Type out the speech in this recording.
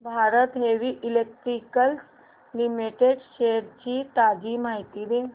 Bharat heavy electricals limited shares ची ताजी माहिती दे